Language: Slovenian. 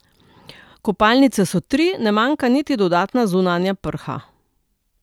Kopalnice so tri, ne manjka niti dodatna zunanja prha.